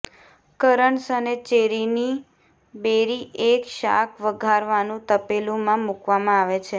currants અને ચેરીની berry એક શાક વઘારવાનું તપેલું માં મૂકવામાં આવે છે